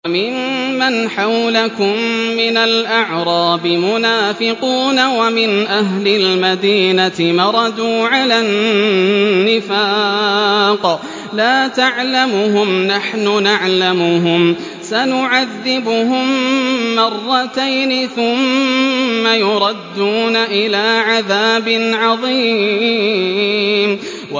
وَمِمَّنْ حَوْلَكُم مِّنَ الْأَعْرَابِ مُنَافِقُونَ ۖ وَمِنْ أَهْلِ الْمَدِينَةِ ۖ مَرَدُوا عَلَى النِّفَاقِ لَا تَعْلَمُهُمْ ۖ نَحْنُ نَعْلَمُهُمْ ۚ سَنُعَذِّبُهُم مَّرَّتَيْنِ ثُمَّ يُرَدُّونَ إِلَىٰ عَذَابٍ عَظِيمٍ